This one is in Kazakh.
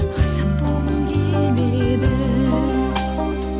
азат болғым келеді